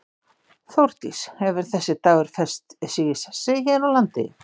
Þórdís, hefur þessi dagur fest sig í sessi hér á landi?